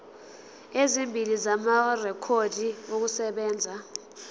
ezimbili amarekhodi okusebenza